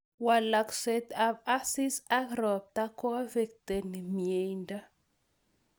Walakseet ap asis ak ropta koaffectni myeeindo